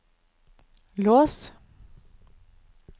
lås